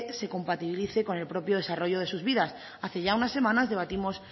se compatibilice con el propio desarrollo de sus vidas hace ya unas semanas debatimos